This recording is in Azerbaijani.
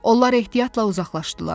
Onlar ehtiyatla uzaqlaşdılar.